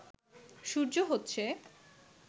সূর্য হচ্ছে